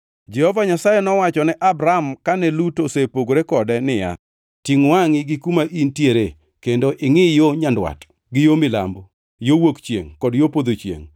Jehova Nyasaye nowacho ne Abram kane Lut osepogore kode niya, “Tingʼ wangʼi gi kuma in tiere kendo ingʼi yo nyandwat gi yo milambo, yo wuok chiengʼ kod yo podho chiengʼ.